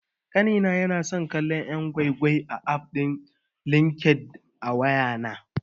Ƙanina yana son kallon yan' gwai-gwai akan aff din LinkedIn a wayana.